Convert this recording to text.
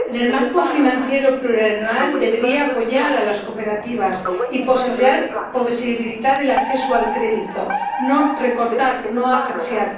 El marco financiero plurianual debería apoyar a las cooperativas y posibilitar el acceso al crédito, no recortar, no asfixiar.